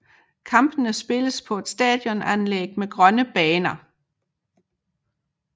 Kampene spilles på et stadionanlæg med grønne baner